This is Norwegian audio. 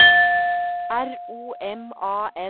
R O M A N